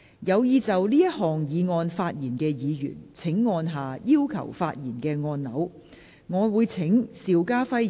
有意就這項議案發言的議員請按下"要求發言"按鈕。